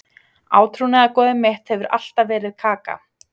Átrúnaðargoðið mitt hefur alltaf verið Kaka.